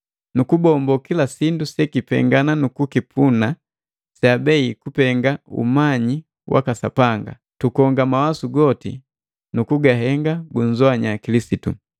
nukubombo kila sindu sekipenga nukukipuna seabei kupenga umanyi waka Sapanga. Tukonga mawasu goti na kugahenga gunzoanya Kilisitu.